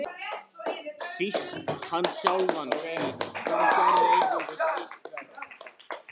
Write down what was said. Síst hann sjálfan, því það gerði einungis illt verra.